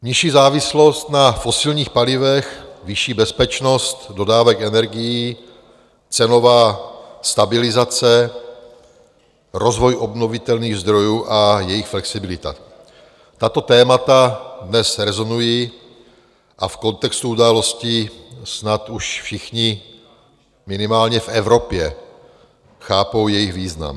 Nižší závislost na fosilních palivech, vyšší bezpečnost dodávek energií, cenová stabilizace, rozvoj obnovitelných zdrojů a jejich flexibilita - tato témata dnes rezonují a v kontextu událostí snad už všichni minimálně v Evropě chápou jejich význam.